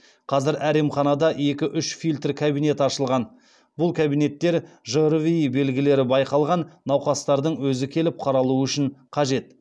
қазір әр емханада екі үш фильтр кабинет ашылған бұл кабинеттер жрви белгілері байқалған науқастардың өзі келіп қаралуы үшін қажет